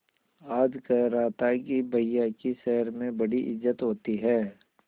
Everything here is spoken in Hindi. आज कह रहा था कि भैया की शहर में बड़ी इज्जत होती हैं